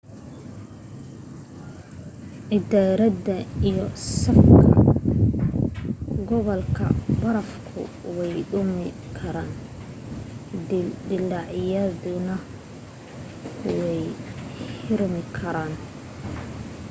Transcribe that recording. gidaarada iyo saqafka godadka barafku way dumi karaan dillaacyaduna way xirmi karaan